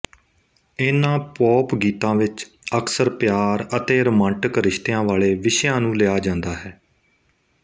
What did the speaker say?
ਇਨ੍ਹਾਂ ਪੋਪ ਗੀਤਾਂ ਵਿੱਚ ਅਕਸਰ ਪਿਆਰ ਅਤੇ ਰੋਮਾਂਟਿਕ ਰਿਸ਼ਤਿਆਂ ਵਾਲੇ ਵਿਸ਼ਿਆਂ ਨੂੰ ਲਿਆ ਜਾਂਦਾ ਹੈ